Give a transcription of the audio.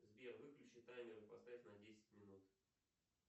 сбер выключи таймер и поставь на десять минут